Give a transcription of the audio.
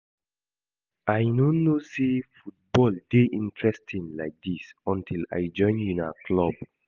I no know say football dey interesting like dis until I join una club